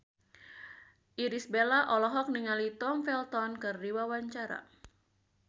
Irish Bella olohok ningali Tom Felton keur diwawancara